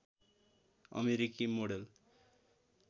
अमेरिकी मोडेल